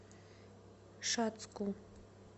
шацку